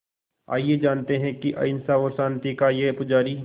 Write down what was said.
आइए जानते हैं कि अहिंसा और शांति का ये पुजारी